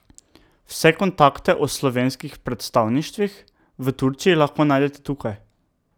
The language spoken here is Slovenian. Vse kontakte o slovenskih predstavništvih v Turčiji lahko najdete tukaj.